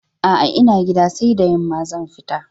A'a, ina gida, sai da yamma zan tafi.